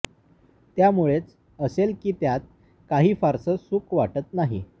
त्यामुळेच असेल की त्यात काही फारसं सुख वाटत नाही